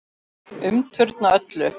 Umturna öllu.